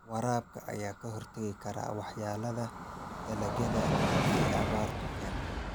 Waraabka ayaa ka hortagi kara waxyeelada dalagyada ay abaartu keento.